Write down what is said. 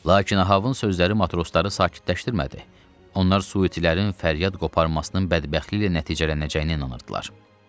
Lakin Ahabın sözləri matrosları sakitləşdirmədi, onlar suitilərin fəryad qoparmasının bədbəxtliklə nəticələnəcəyinə inanırdılar.